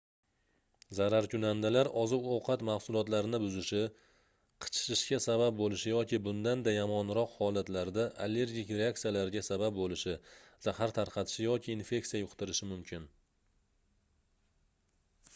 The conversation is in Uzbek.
zararkunandalar oziq-ovqat mahsulotlarini buzishi qichishishga sabab boʻlishi yoki bundan-da yomonroq holatlarda allergik reaksiyalarga sabab boʻlishi zahar tarqatishi yoki infeksiya yuqtirishi mumkin